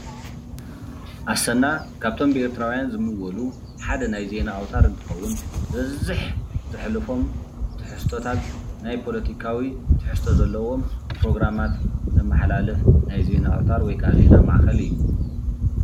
ኣሰና ካብቶም ብኤርትራዊያን ዝምወሉ ሓደ ናይ ዜና ኣውተር እንትኸውን ዝበዝሕ ዝሕልፎም ትሕዝቶታት ናይ ፖለቲካዊ ትሕዝቶ ዘለዎም ፕሮግራማት ዘመሓላልፍ ናይ ዜና ኣውተር ወይካዓ ዜና ማእከል እዩ።